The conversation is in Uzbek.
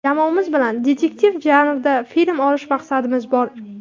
Jamoamiz bilan detektiv janrda film olish maqsadimiz bor.